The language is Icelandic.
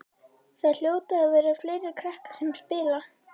Það hljóta að vera fleiri krakkar sem spila.